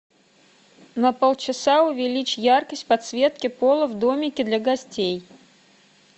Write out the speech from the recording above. на полчаса увеличь яркость подсветки пола в домике для гостей